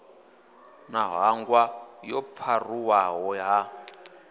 na ṱhanga yo pharuwaho ha